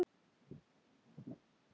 Sá ég spóa fullum hálsi.